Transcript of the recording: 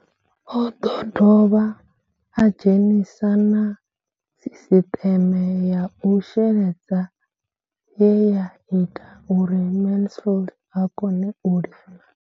O ḓo dovha a dzhenisa na sisiṱeme ya u sheledza ye ya ita uri Mansfied a kone u lima.